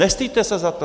Nestyďte se za to!